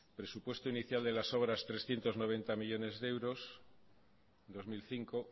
presupuesto inicial de las obras trescientos noventa millónes de euros dos mil cinco